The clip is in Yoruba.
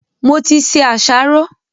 Mo ti se àsáró.